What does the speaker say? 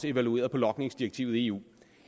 evalueret logningsdirektivet i eu